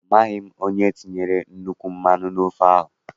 Amaghị m onye tinyere nnukwu mmanụ n' ofe ahụ.